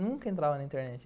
Nunca entrava na internet.